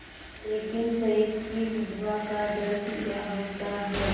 लेकिन शहीद की विधवा का दर्द क्या होता है